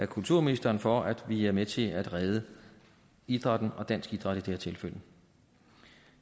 kulturministeren for at vi er med til at redde idrætten og dansk idræt i her tilfælde